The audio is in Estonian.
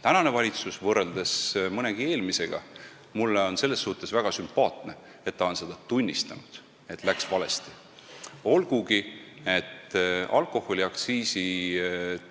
Tänane valitsus on võrreldes mõnegi eelmisega – mis on mulle väga sümpaatne – seda ka tunnistanud, et läks valesti, olgugi et alkoholiaktsiisi